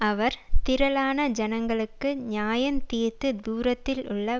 அவர் திரளான ஜனங்களுக்குள் நியாயந்தீர்த்து தூரத்திலுள்ள